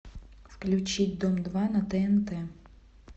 включи дом два на тнт